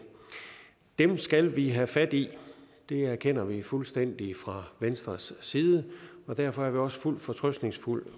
dem skal vi have fat i det erkender vi fuldstændig fra venstres side og derfor er vi også fuldt fortrøstningsfulde